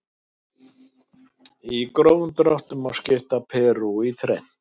Í grófum dráttum má skipta Perú í þrennt.